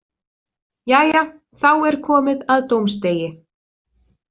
Jæja, þá er komið að dómsdegi